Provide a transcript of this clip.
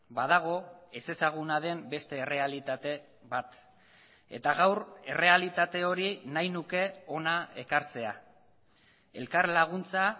badago ezezaguna den beste errealitate bat eta gaur errealitate hori nahi nuke hona ekartzea elkarlaguntza